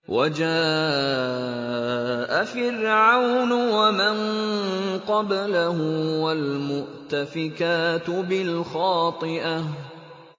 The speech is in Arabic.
وَجَاءَ فِرْعَوْنُ وَمَن قَبْلَهُ وَالْمُؤْتَفِكَاتُ بِالْخَاطِئَةِ